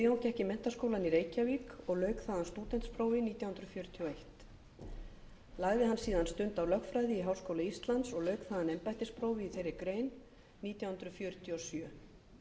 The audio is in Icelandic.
gekk í menntaskólann í reykjavík og lauk þaðan stúdentsprófi nítján hundruð fjörutíu og einn lagði hann síðan stund á lögfræði í háskóla íslands og lauk þaðan embættisprófi í þeirri grein nítján hundruð fjörutíu og sjö hann öðlaðist réttindi